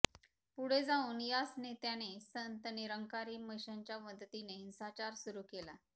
पुढे जाऊन याच नेत्याने संत निरंकारी मिशनच्या मदतीने हिंसाचार सुरु केला